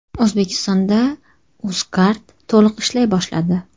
O‘zbekistonda Uzcard to‘liq ishlay boshladi.